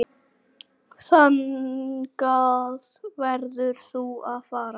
Þangað verður þú að fara.